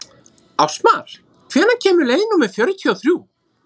Ástmar, hvenær kemur leið númer fjörutíu og þrjú?